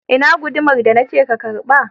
Ina guduma da na ce ka karba?